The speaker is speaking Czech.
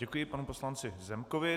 Děkuji panu poslanci Zemkovi.